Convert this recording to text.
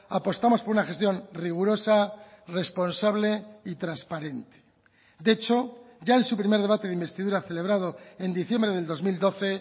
apostamos por una gestión rigurosa responsable y transparente de hecho ya en su primer debate de investidura celebrado en diciembre del dos mil doce